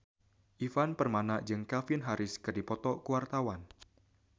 Ivan Permana jeung Calvin Harris keur dipoto ku wartawan